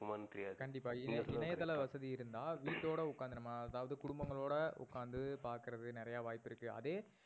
இருக்குமானு தெரியாது. கண்டிப்பா இணையதள வசதி இருந்தா வீட்டோட ஒக்காந்து நம்ப அதாவது குடும்பங்களோட ஒக்காந்து பாக்குறது நிறையா வாய்ப்பு இருக்கு. அதே